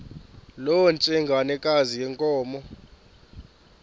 loo ntsengwanekazi yenkomo